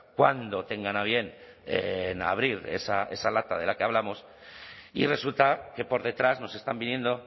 cuando tengan a bien en abrir esa lata de la que hablamos y resulta que por detrás nos están viniendo